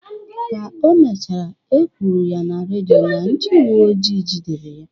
Ka o mechara, ekwuru na redio na ndị uweojii jidere ha.